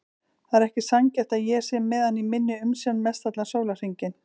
Það er ekki sanngjarnt að ég sé með hann í minni umsjá mestallan sólarhringinn.